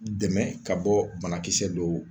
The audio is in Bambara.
Dɛmɛ ka bɔ banakisɛ dɔw